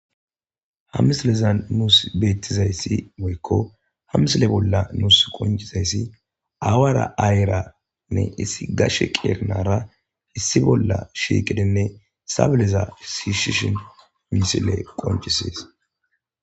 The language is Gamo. Ha misilezan nuus beettizay woykko ha misiletti woykko ha misile bolla nuus qonccizayssi aawara ayera issi gashshe qeeri nara issi bolla shiiqidinne sabileza shiishshin misilezi qoncisishes